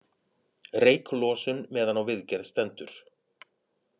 Reyklosun meðan á viðgerð stendur